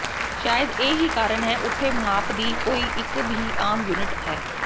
ਸ਼ਾਇਦ ਇਹ ਹੀ ਕਾਰਨ ਹੈ ਉਥੇ ਮਾਪ ਦੀ ਕੋਈ ਇਕ ਵੀ ਆਮ ਯੂਨਿਟ ਹੈ